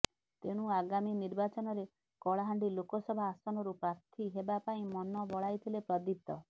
ତେଣୁ ଆଗାମୀ ନିର୍ବାଚନରେ କଳାହାଣ୍ଡି ଲୋକସଭା ଆସନରୁ ପ୍ରାର୍ଥୀ ହେବା ପାଇଁ ମନ ବଳାଇଥିଲେ ପ୍ରଦୀପ୍ତ